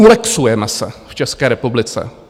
Ulexujeme se v České republice.